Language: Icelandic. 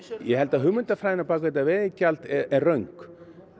ég held að hugmyndafræðin á bak við þetta veiðigjald er röng